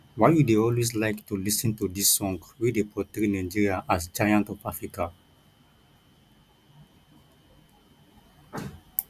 why you dey always like to lis ten to dis song wey dey portray nigeria as giant ofafrica